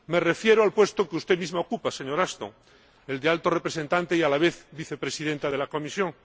Me refiero al puesto que usted misma ocupa, señora Ashton, el de Alta Representante y a la vez Vicepresidenta de la Comisión.